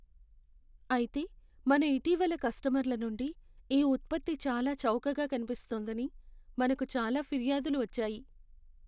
అయితే, మన ఇటీవలి కస్టమర్ల నుండి ఈ ఉత్పత్తి చాలా చౌకగా కనిపిస్తోందని మనకు చాలా ఫిర్యాదులు వచ్చాయి..